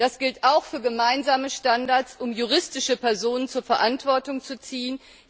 Das gilt auch für gemeinsame Standards, um juristische Personen zur Verantwortung zu ziehen.